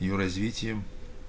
её развитием